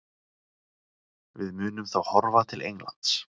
Við munum þá horfa til Englands.